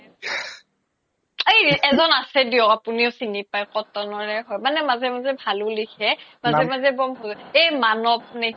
এজ্ন আছে দিওক আপোনিও চিনি পাই cotton ৰে হয় মাজে মাজে ভালও লিখে মাজে মাজে মানব নে কি